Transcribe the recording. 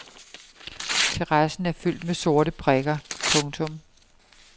Terrassen er fyldt med sorte prikker. punktum